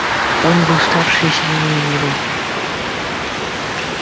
он был старше и сильнее его